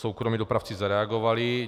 Soukromí dopravci zareagovali.